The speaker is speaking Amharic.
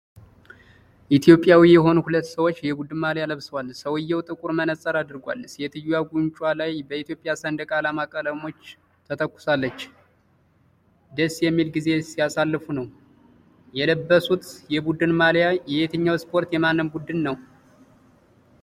ኢትዮጵያዊ የሆኑ ሁለት ሰዎች የቡድን ማልያ ለብሰዋል። ሰውየው ጥቁር መነጽር አድርጓል። ሴትዮዋ ጉንጮቿ ላይ በኢትዮጵያ ሰንደቅ ዓላማ ቀለሞች ተኳኩላለች። ደስ የሚል ጊዜ ሲያሳልፉ ነው። የለበሱት የቡድን ማልያ የየትኛው ስፖርት የማን ቡድን ነው?